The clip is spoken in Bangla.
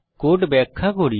কোড ব্যাখ্যা করি